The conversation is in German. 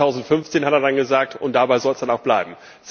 2015, hat er dann gesagt, und dabei soll es dann auch bleiben.